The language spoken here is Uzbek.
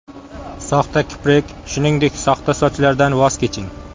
Soxta kiprik, shuningdek, soxta sochlardan voz keching.